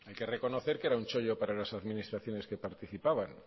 que reconocer que era un chollo para las administraciones que participaban